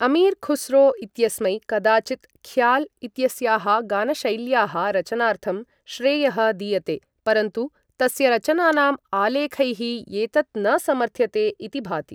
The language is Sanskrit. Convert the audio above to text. अमीर् ख़ुस्रो इत्यस्मै कदाचित् ख़्याल् इत्यस्याः गानशैल्याः रचनार्थं श्रेयः दीयते, परन्तु तस्य रचनानां आलेखैः एतत् न समर्थ्यते इति भाति।